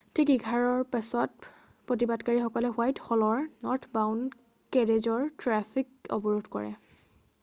ঠিক 11:00ৰ পিছত প্ৰতিবাদকাৰীসকলে হোৱাইট হলৰ নৰ্থবাউণ্ড কেৰেজৰ ট্ৰেফিক অৱৰোধ কৰে।